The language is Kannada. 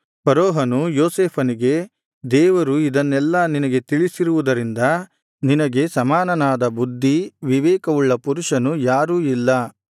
ಫರೋಹನು ಯೋಸೇಫನಿಗೆ ದೇವರು ಇದನ್ನೆಲ್ಲಾ ನಿನಗೆ ತಿಳಿಸಿರುವುದರಿಂದ ನಿನಗೆ ಸಮಾನನಾದ ಬುದ್ಧಿ ವಿವೇಕವುಳ್ಳ ಪುರುಷನು ಯಾರೂ ಇಲ್ಲ